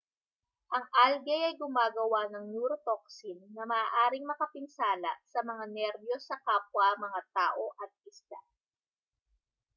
ang algae ay gumagawa ng neurotoxin na maaaring makapinsala sa mga nerbiyos sa kapwa mga tao at isda